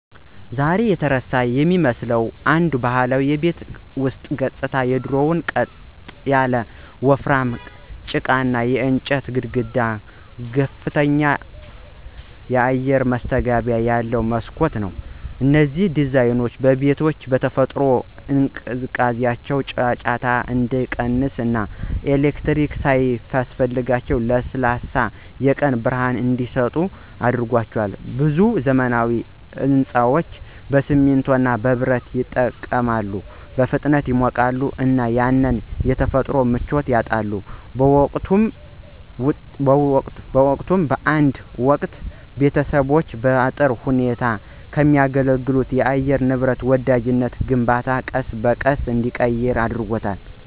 ዛሬ የተረሳ የሚመስለው አንዱ ባህላዊ የቤት ውስጥ ገጽታ የድሮው ቅጥ ያለው ወፍራም ጭቃና የእንጨት ግድግዳ ከፍተኛ አየር ማስገቢያ ያለው መስኮት ነው። እነዚህ ዲዛይኖች ቤቶቹ በተፈጥሯቸው እንዲቀዘቅዙ፣ ጫጫታ እንዲቀንስ እና ኤሌክትሪክ ሳያስፈልጋቸው ለስላሳ የቀን ብርሃን እንዲሰጡ አድርጓቸዋል። ብዙ ዘመናዊ ሕንፃዎች በሲሚንቶ እና በብረት ይጠቀማሉ, በፍጥነት ይሞቃሉ እና ያንን የተፈጥሮ ምቾት ያጣሉ. በውጤቱም፣ በአንድ ወቅት ቤተሰቦችን በጥሩ ሁኔታ ከሚያገለግል ለአየር ንብረት ወዳጃዊ ግንባታ ቀስ በቀስ ተራቅን።